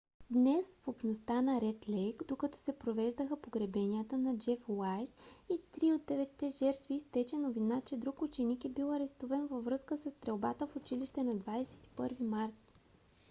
днес в общността на ред лейк докато се провеждаха погребенията на джеф уайз и три от деветте жертви изтече новина че друг ученик е бил арестуван във връзка със стрелбата в училище на 21 март